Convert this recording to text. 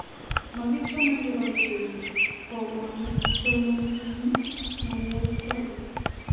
Makichame kebaisienech. Komwa netononchin ngalek choton